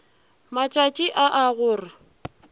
matšaši a a go re